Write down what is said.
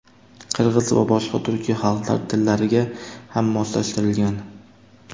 qirg‘iz va boshqa turkiy xalqlar tillariga ham moslashtirilgan.